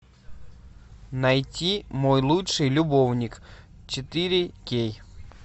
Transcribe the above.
найти мой лучший любовник четыре кей